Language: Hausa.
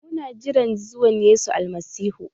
Mu na jiran zuwan Yesu Almasihu.